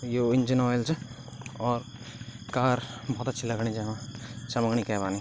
यो engine oil च और car बहौत अच्छी लगणी जेमा चमकणी के बानि।